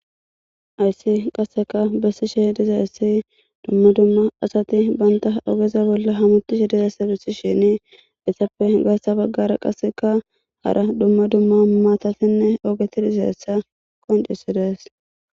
Haysan qasseka besishe dizaysi duma duma asati banta ogeza bolla hamutishe dizaysa besishenne hara izetappe gaatha bagara qaseka maatatinne miithati dizaysa besses.